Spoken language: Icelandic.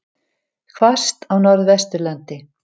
Hvasst á Norðvesturlandi